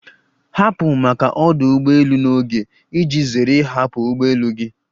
Hapụ maka ọdụ ụgbọ elu n'oge iji zere ịhapụ ụgbọ elu gị!